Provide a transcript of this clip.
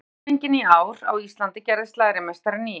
Þegar lax var genginn í ár á Íslandi gerðist lærimeistarinn í